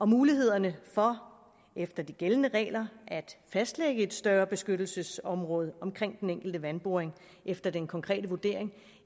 mulighederne for efter de gældende regler at fastlægge et større beskyttelsesområde omkring den enkelte vandboring efter den konkrete vurdering